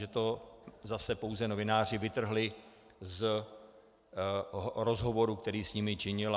Že to zase pouze novináři vytrhli z rozhovoru, který s nimi činil.